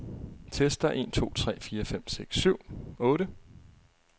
Tester en to tre fire fem seks syv otte.